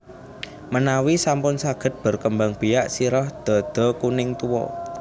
Menawi sampun saged berkembang biak sirah dhadha kuning tua